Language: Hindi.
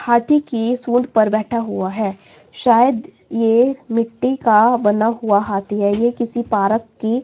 हाथी की सूंड़ पर बैठा हुआ है शायद ये मिट्टी का बना हुआ हाथी है ये किसी पारक की--